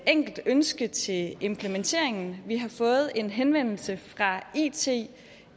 enkelt ønske til implementeringen vi har fået en henvendelse fra it